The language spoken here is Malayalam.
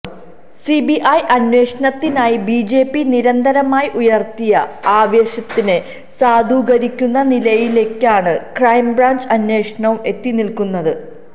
സിബിഐ അന്വേഷണത്തിനായി ബിജെപിനിരന്തരമായി ഉയര്ത്തിയ ആവശ്യത്തിനെ സാധൂകരിക്കുന്ന നിലയിലേക്കാണ് ക്രൈംബ്രാഞ്ച് അന്വേഷണവും എത്തിനില്ക്കുന്നത്